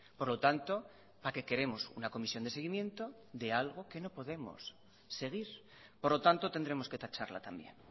por lo tanto para qué queremos una comisión de seguimiento de algo que no podemos seguir por lo tanto tendremos que tacharla también